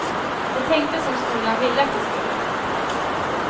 De tänkte som skolan ville att de skulle.